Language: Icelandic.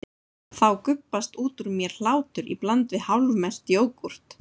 Þá gubbast út úr mér hlátur í bland við hálfmelt jógúrt.